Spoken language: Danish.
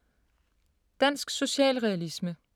Dansk socialrealisme